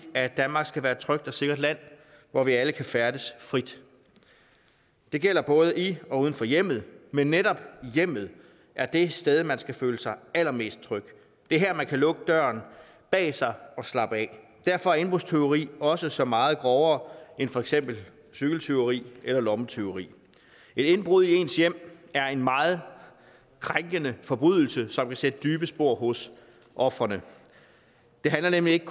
at danmark skal være et trygt og sikkert land hvor vi alle kan færdes frit det gælder både i og uden for hjemmet men netop hjemmet er det sted man skal føle sig allermest tryg det er her man kan lukke døren bag sig og slappe af derfor er indbrudstyveri også så meget grovere end for eksempel cykeltyveri eller lommetyveri et indbrud i ens hjem er en meget krænkende forbrydelse som kan sætte dybe spor hos ofrene det handler nemlig ikke